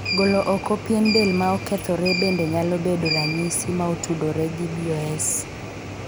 Golo oko pien del ma okethore bende nyalo bedo ranyisi ma otudore gi BOS.